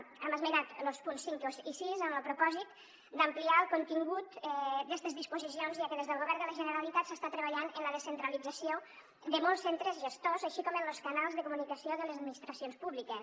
hem esmenat los punts cinc i sis amb lo propòsit d’ampliar el contingut d’estes disposicions ja que des del govern de la generalitat s’està treballant en la descentralització de molts centres gestors així com en los canals de comunicació de les administracions públiques